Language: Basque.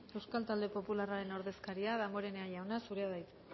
euskal talde popularraren ordezkaria damborenea jauna zurea da hitza